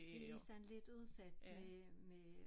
De sådan lidt udsat med med øh